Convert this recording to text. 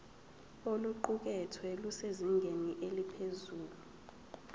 oluqukethwe lusezingeni eliphezulu